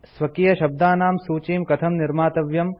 स्वकीयशब्दानां सूचीं कथं निर्मातव्यम्